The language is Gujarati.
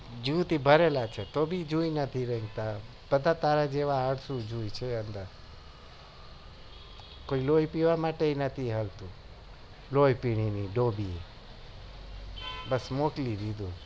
જૂથ ઉભરે લુ છે તો બી જુએ નથી રઈ બધા તારા જેવા અલાશું જુઈ છે કોઈ લોઈ પીવા માટે પણ નથી હાલતું લોઉં પીહીની ડોબી બસ મોકલી દીધું